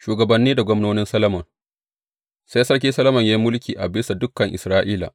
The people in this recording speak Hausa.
Shugabanni da gwamnonin Solomon Sai Sarki Solomon ya yi mulki a bisa dukan Isra’ila.